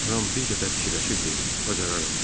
Ram bir qədər fikirləşib dedi: bacararam.